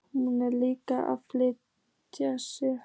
Hún er líka að flýta sér.